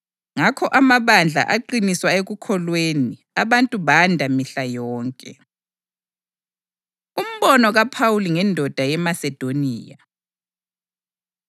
Ngakho amabandla aqiniswa ekukholweni abantu banda mihla yonke. Umbono KaPhawuli Ngendoda YeMasedoniya